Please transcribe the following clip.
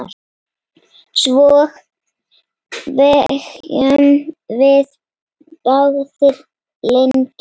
Svo þegjum við báðar lengi.